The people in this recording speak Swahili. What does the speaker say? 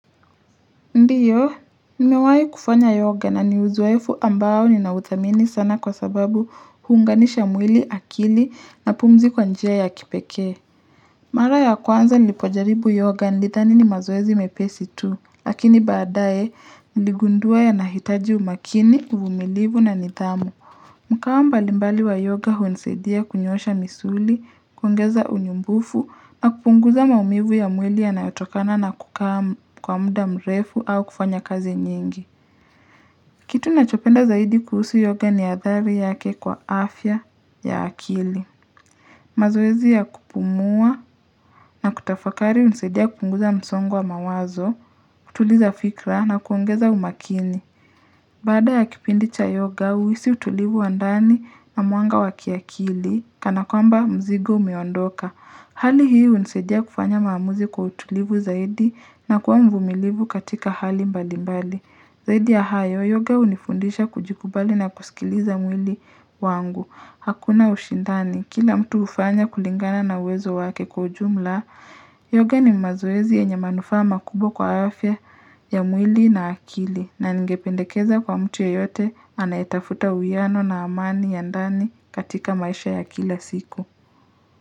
Ndiyo, nimewahi kufanya yoga na ni uzoefu ambao ninauthamini sana kwa sababu huunganisha mwili akili na pumzi kwa njia ya kipekee. Mara ya kwanza nilipojaribu yoga nilithani ni mazoezi mepesi tu, lakini baadae niligundua yanahitaji umakini, uvumilivu na nidhamu. Mkao mbalimbali wa yoga hunisaidia kunyosha misuli, kuongeza unyumbufu, na kupunguza maumivu ya mwili yanayotokana na kukaa kwa muda mrefu au kufanya kazi nyingi. Kitu nachopenda zaidi kuhusu yoga ni athari yake kwa afya ya akili. Mazoezi ya kupumua na kutafakari hunisaidia kupunguza msongo wa mawazo, kutuliza fikra na kuongeza umakini. Baada ya kipindi cha yoga, huisi utulivu wa ndani na mwanga wa kiakili, kana kwamba mzigo umeondoka. Hali hii hunisaidia kufanya maamuzi kwa utulivu zaidi na kuwa mvumilivu katika hali mbali mbali. Zaidi ya hayo, yoga hunifundisha kujikubali na kusikiliza mwili wangu. Hakuna ushindani, kila mtu hufanya kulingana na uwezo wake kwa ujumla, Yoga ni mazoezi yenye manufaa makubwa kwa afya ya mwili na akili na ningependekeza kwa mtu yoyote anayetafuta uwiano na amani ya ndani katika maisha ya kila siku.